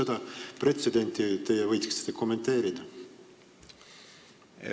Kas te seda pretsedenti võiksite kommenteerida?